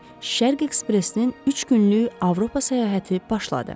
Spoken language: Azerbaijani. Şərq ekspresinin üç günlük Avropa səyahəti başladı.